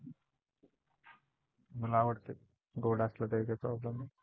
मला आवडत गोड असलं तरी काही Problem नाही.